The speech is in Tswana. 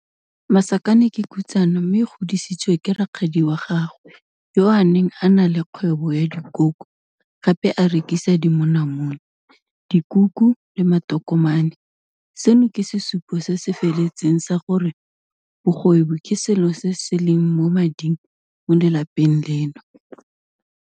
Masakane ke khutsana mme o godisitswe ke rakgadi wa gagwe yo a neng a na le kgwebo ya dikoko, gape a rekisa dimonamone, dikuku le matokomane - seno ke sesupo se se feletseng sa gore bogwebi ke selo se se leng mo mading mo lelapeng leno.